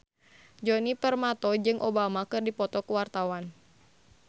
Djoni Permato jeung Obama keur dipoto ku wartawan